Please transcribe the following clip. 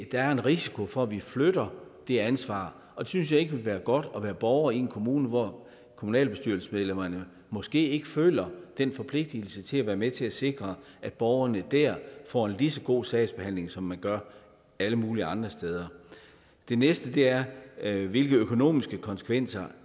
der er en risiko for at vi flytter det ansvar jeg synes ikke være godt at være borger i en kommune hvor kommunalbestyrelsesmedlemmerne måske ikke føler den forpligtigelse til at være med til at sikre at borgerne der får en lige så god sagsbehandling som man gør alle mulige andre steder det næste er er hvilke økonomiske konsekvenser